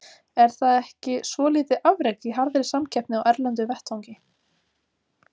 Er það ekki svo lítið afrek í harðri samkeppni á erlendum vettvangi.